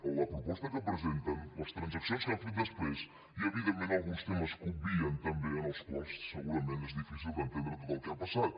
en la proposta que presenten les transaccions que han fet després hi ha evidentment alguns temes que obvien també amb els quals segurament és difícil d’entendre tot el que ha passat